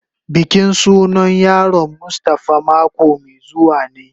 Bikin sunan yaron mustafa mako mai zuwa ne.